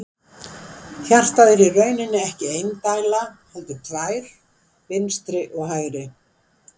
Hjartað er í rauninni ekki ein dæla heldur tvær, vinstri og hægri.